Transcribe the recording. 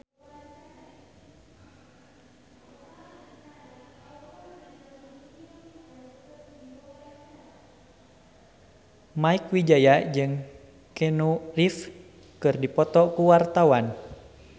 Mieke Wijaya jeung Keanu Reeves keur dipoto ku wartawan